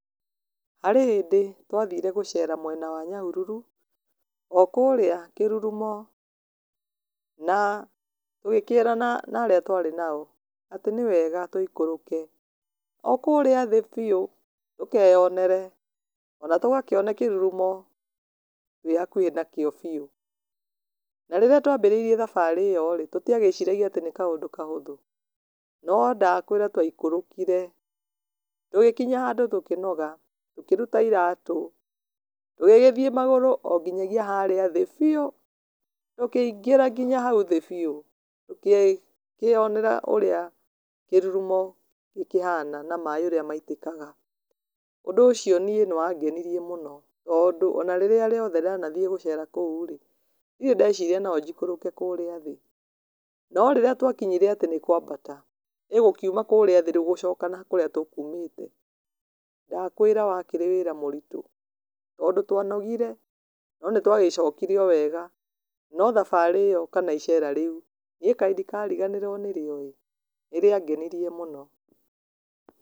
Harĩ hĩndĩ twathire gũcera mwena wa Nyahururu okũrĩa kĩrurumo, na, tũgĩkĩrana na arĩa twarĩ nao, atĩ nĩ wega tũikũrũke, o kũrĩa thĩ biũ, tũkeyonere, ona tũgakĩone kĩrurumo twĩhakuhĩ nakĩo biũ, na rĩrĩa twambĩrĩrie thabarĩ ĩyo-rĩ tũtiagĩciragia atĩ nĩ kaũndũ kahũthũ, no ndakwĩra twaikũrũkire, tũgĩkinya handũ tũkĩnoga, tũkĩruta iratũ tũgĩgĩthiĩ magũrũ o nginya gĩa harĩa thĩ biũ, tũkĩingĩra nginya hau thĩ biu, tũkĩkĩonera ũrĩa kĩrurumo gĩkĩhana, na maĩ ũrĩa maitĩkaga, ũndũ ũcio niĩ nĩ wangenirie mũno, tondũ ona rĩrĩa rĩothe ndanathiĩ gũcera kũu-rĩ, ndirĩ ndeciria nonjikũrũke kũrĩa thĩ, no rĩrĩa twakinyire atĩ nĩ kwambata , ĩ gũkiuma kũrĩa thĩ gũcoka na kũrĩa tũkũmĩte, ndakwĩra wakĩrĩ wĩra mũritũ, tondũ twa nogire no nĩ twagĩcokire o wega, no thabarĩ ĩyo kana iceera rĩu, niĩ kaĩ ndĩkariganĩrwo nĩrĩo-ĩ, nĩrĩangenirie mũno.